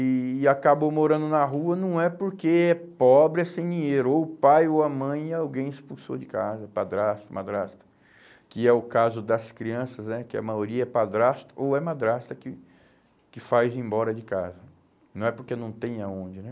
e e acabou morando na rua não é porque é pobre, é sem dinheiro, ou o pai ou a mãe alguém expulsou de casa, padrasto, madrasta, que é o caso das crianças né, que a maioria é padrasto ou é madrasta que que faz ir embora de casa, não é porque não tem aonde, né?